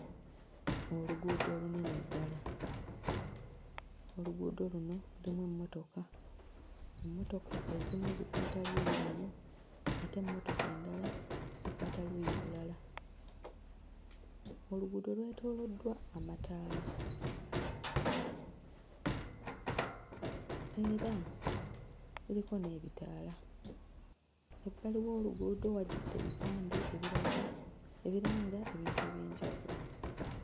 Oluguudo olunene ddala. Oluguudo luno lulimu emmotoka, ng'emmotoka ezimu zikwata luuyi lumu ate emmotoka endala zikwata luuyi lulala. Oluguudo lwetooloddwa amataala era kuliko n'ebitaala. Ebbali w'oluguudo wajjudde ebipande ebiraga ebiranga ebintu eby'enjawulo.